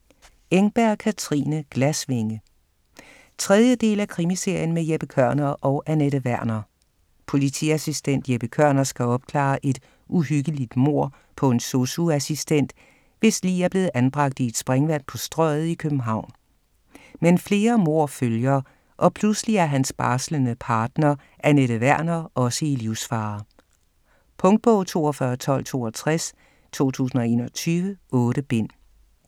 Engberg, Katrine: Glasvinge 3. del af krimiserien med Jeppe Kørner og Anette Werner. Politiassistent Jeppe Kørner skal opklare et uhyggeligt mord på en sosu-assistent, hvis lig er blevet anbragt i et springvang på Strøget i København. Men flere mord følger, og pludselig er hans barslende partner, Anette Werner, også i livsfare. Punktbog 421262 2021. 8 bind.